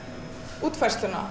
útfærsluna